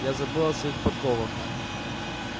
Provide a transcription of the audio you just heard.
я забыл о своих подковах